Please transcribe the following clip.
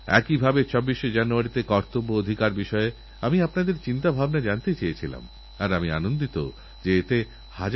আপনি হয়তো দেখেছেন আজকালঅ্যাণ্টিবায়োটিকের যে ঔষধ বিক্রি হয় তার যে পাতা থাকে তাতে একটা লাল লাইন এঁকেআপনাদের সাবধান করে দেওয়া হয়